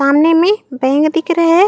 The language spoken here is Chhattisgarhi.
सामने में बैंक दिख रहा है।